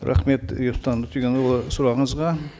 рахмет ерсұлтан өтеғұлұлы сұрағыңызға